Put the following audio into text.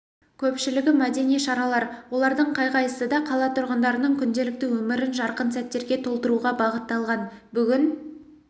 көпшілігі мәдени шаралар олардың қай-қайсысы да қала тұрғындарының күнделікті өмірін жарқын сәттерге толтыруға бағытталған бүгін